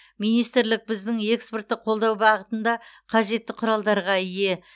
министрлік біздің экспортты қолдау бағытында қажетті құралдарға ие